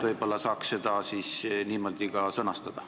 Võib-olla saaks seda ka niimoodi sõnastada.